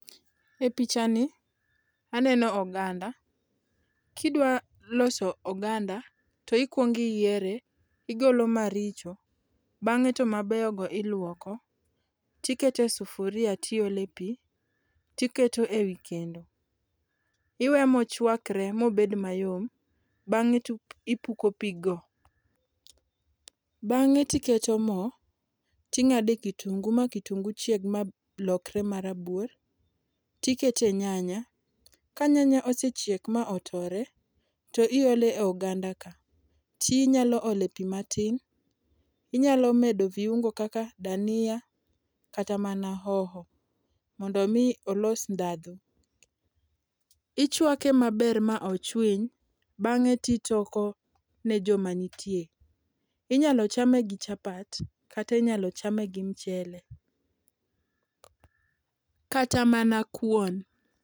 E picha ni, aneno oganda. Kidwa loso oganda to ikwongo iyiere, igolo maricho bang'e to mabeyogo iluoko tikete sufuria tiole pi tiketo e wi kendo. Iweye mochwakre mobed mayom, bang'e tipuko piggo. Bang'e tiketo mo ting'ade kitungu ma kitungu chieg malokre marabuor tikete nyanya, ka nyanya osechiek ma otore, to iole ogandaka tinyalo ole pi matin, inyalo medo viungo kaka dania kata mana hoho mondo omi olos ndhadhu. Ichwake maber ma ochwiny, bang'e titoko ne joma nitie. Inyalo chame gi chapat, kata inyalo chame gi mchele, kata mana kuon.